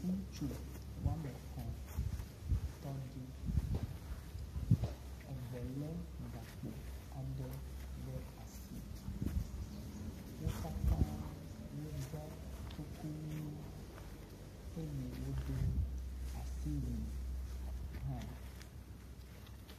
Ŋutsu wɔme etɔ̃ tɔ ɖi. Eve le gakpo aɖe ɖe asi. Wo katã woɖɔ kuku ʋi eye wodo asiwui hã.